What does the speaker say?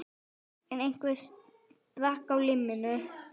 Einn þeirra sprakk á limminu